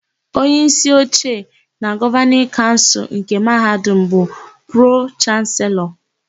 Onyeísí oche na Gọvanịn Kaụnsụlnke Mahadum bụ Pro-Chanselọ.